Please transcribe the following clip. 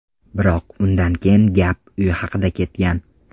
Biroq undan keyin gap uy haqida ketgan.